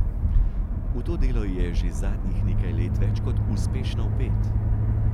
V to delo je že zadnjih nekaj let več kot uspešno vpet.